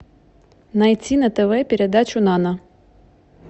найти на тв передачу нано